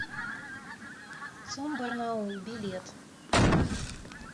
цум барнаул билет